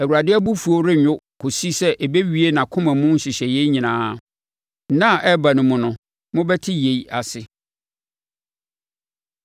Awurade abufuo rennwo kɔsi sɛ ɔbɛwie nʼakoma mu nhyehyɛeɛ nyinaa. Nna a ɛreba no mu no mobɛte yei ase.